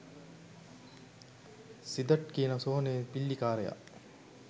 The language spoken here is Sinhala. සිදට් කියන සොහොන් පිල්ලිකාරයා.